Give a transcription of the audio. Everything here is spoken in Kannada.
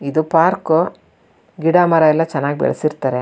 ಇದು ಪಾರ್ಕ್ . ಗಿಡ ಮರ ಎಲ್ಲ ಚೆನ್ನಾಗಿ ಬೆಳೆಸಿರ್ತಾರೆ.